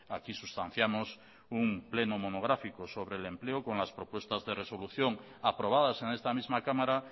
aquí sustanciamos un pleno monográfico sobre el empleo con las propuestas de resolución aprobadas en esta misma cámara